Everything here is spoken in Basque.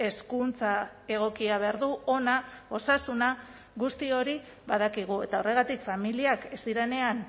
hezkuntza egokia behar du ona osasuna guzti hori badakigu eta horregatik familiak ez direnean